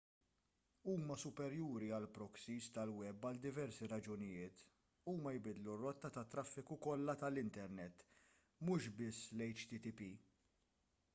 huma superjuri għall-proxies tal-web għal diversi raġunijiet huma jbiddlu r-rotta tat-traffiku kollu tal-internet mhux biss l-http